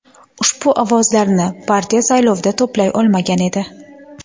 Ushbu ovozlarni partiya saylovda to‘play olmagan edi.